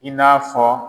I n'a fɔ